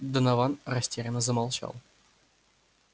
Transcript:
донован растерянно замолчал